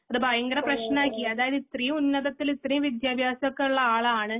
അത് ഭയങ്കരപ്രേശ്നാക്കി അതായത്‌ ഇത്രേം ഉന്നതത്തില് ഇത്രേം വിദ്ത്യഭാസം ഉള്ള ആളാണ്